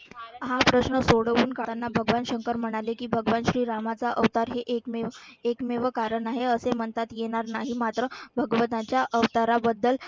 भगवान शंकर म्हणाले की भगवान श्रीरामाचा अवतार हे एकमेव एकमेव कारण आहे. असे म्हणतात येणार नाही मात्र भगवंताच्या अवताराबद्दल